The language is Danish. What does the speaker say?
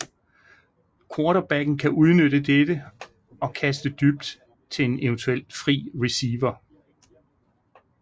Quarterbacken kan udnytte dette og kaste dybt til en eventuelt fri receiver